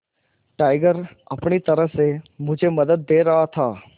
tiger अपनी तरह से मुझे मदद दे रहा था